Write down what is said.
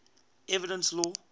evidence law